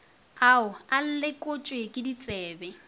ao a lekotšwe ke ditsebi